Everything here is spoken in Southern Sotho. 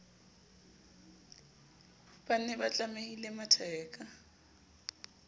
ba ne ba tlamile matheka